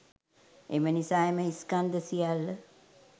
එම නිසා එම ස්කන්ධ සියල්ල